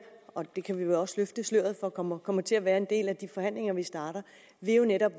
og det kan vi jo også løfte sløret for kommer kommer til at være en del af de forhandlinger vi starter jo netop